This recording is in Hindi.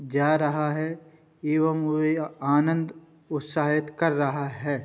जा रहा है। ये वह आनंद उत्साहित कर रहा है।